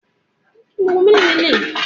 Bẹẹni, Èmí yóò di òníṣírò